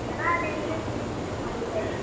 ଇଟା Realme C thirty-five ।